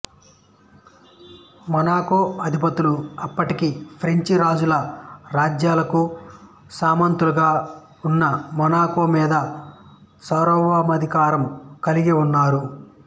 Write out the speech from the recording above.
Monaco అధిపతులు అప్పటికి French రాజుల రాజ్యాలకు సామంతలుగా ఉన్నా మొనాకో మీద సార్వభౌమాధి కారం కలిగి ఉన్నారు